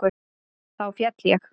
Þá féll ég.